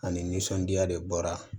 Ani nisɔndiya de bɔra